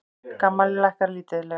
GAMMA lækkar lítillega